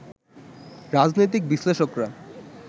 রাজনৈতিক বিশ্লেষকরা